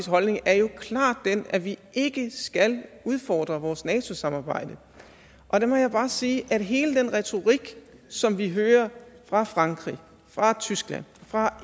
holdning er jo klart den at vi ikke skal udfordre vores nato samarbejde og der må jeg bare sige at hele den retorik som vi hører fra frankrig fra tyskland fra